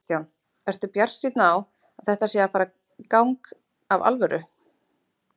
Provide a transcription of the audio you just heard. Kristján: Ertu bjartsýnn á að þetta sé að fara í gang af alvöru?